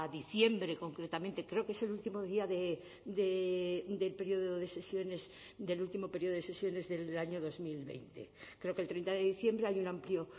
diciembre concretamente creo que es el último día del periodo de sesiones del último periodo de sesiones del año dos mil veinte creo que el treinta de diciembre hay un amplio